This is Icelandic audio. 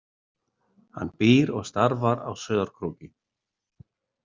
Hann býr og starfar á Sauðárkróki.